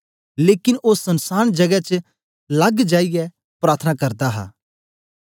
लेकन ओ सनसांन जगै च लग जाईयै प्रार्थना करदा हा